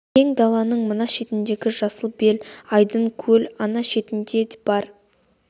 кең даланың мына шетіндегі жасыл бел айдын көл ана шетінде де бар